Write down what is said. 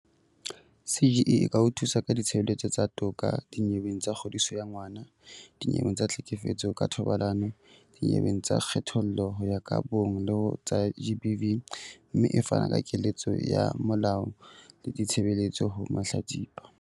CGE e ka o thusa ka ditshebeletso tsa toka dinyeweng tsa kgodiso ya ngwana, dinyeweng tsa tlhekefetso ka thobalano, dinyeweng tsa kgethollo ho ya ka bong le ho tsa GBV, mme e fana ka keletso ya molao le ditshebeletso ho mahlatsipa.